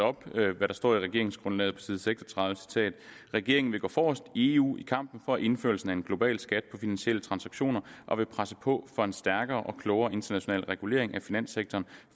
op hvad der står i regeringsgrundlaget på side 36 regeringen vil gå forrest i eu i kampen for indførelse af en global skat på finansielle transaktioner og vil presse på for en stærkere og klogere international regulering af finanssektoren